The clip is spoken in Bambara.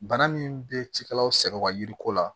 Bana min bɛ cikɛlaw sɛgɛnwa yiri ko la